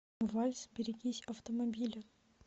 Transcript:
вальс берегись автомобиля